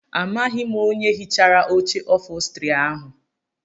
Amaghị m onye hichara oche ofostri ahụ.